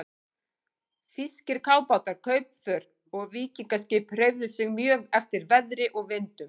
Þýskir kafbátar, kaupför og víkingaskip hreyfðu sig mjög eftir veðri og vindum.